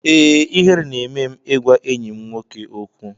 Ee, ihere na-eme m ịgwa enyi m nwoke okwu.